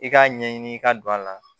I k'a ɲɛɲini ka don a la